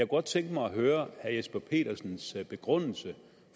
godt tænke mig at høre herre jesper petersens begrundelse